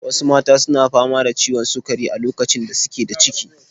Wasu mata su na fama da ciwon sukari a lokacin da su ke da ciki.